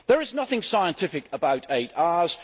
There is nothing scientific about eight hours.